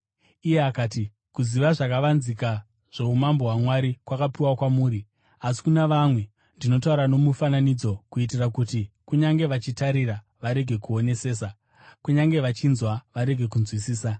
Iye akati, “Kuziva zvakavanzika zvoumambo hwaMwari kwakapiwa kwamuri, asi kuna vamwe, ndinotaura nomufananidzo kuitira kuti, “ ‘kunyange vachitarira, varege kuonesesa; kunyange vachinzwa, varege kunzwisisa.’